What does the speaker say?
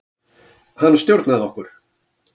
Hann stjórnaði okkur.